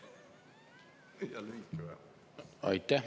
Aitäh!